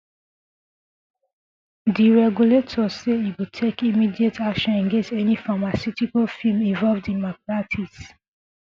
di regulator say e go take immediate action against any pharmaceutical firm involved in malpractice